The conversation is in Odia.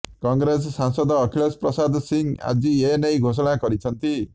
କଂଗ୍ରେସ ସାଂସଦ ଅଖିଳେଶ ପ୍ରସାଦ ସିଂହ ଆଜି ଏନେଇ ଘୋଷଣା କରିଛନ୍ତି